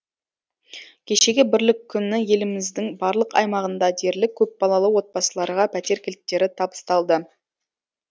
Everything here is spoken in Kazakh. кешегі бірлік күні еліміздің барлық аймағында дерлік көпбалалы отбасыларға пәтер кілттері табысталды